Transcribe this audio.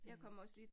Øh